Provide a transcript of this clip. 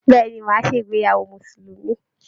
Bẹ̀ẹ́ni, má a ṣe ìgbéyàwó musulumi.